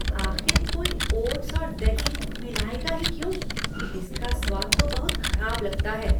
आख़िर कोई ओट्स और दही मिलाएगा ही क्यों? इसका स्वाद तो बहुत खराब लगता है।